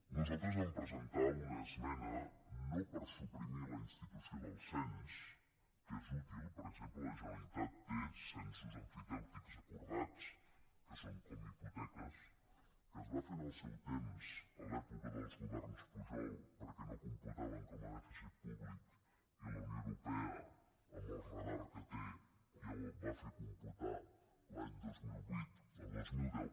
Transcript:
nosaltres vam presentar una esmena no per suprimir la institució del cens que és útil per exemple la generalitat té censos emfitèutics acordats que són com hipoteques que es van fer en el seu temps a l’època dels governs pujol perquè no computaven com a dèficit públic i la unió europea amb el radar que té ja ho va fer computar l’any dos mil vuit o dos mil deu